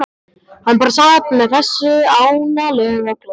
Hann bara sat með þessu ánalega glotti sínu.